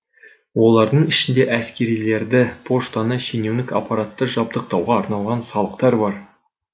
олардың ішінде әскерлерді поштаны шенеунік аппаратты жабдықтауға арналған салықтар бар